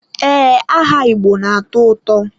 Ee, aha Igbo na-atọ ụtọ.